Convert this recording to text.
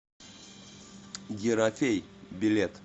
ерофей билет